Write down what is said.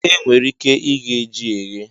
E nwere ike ighe ji eghe.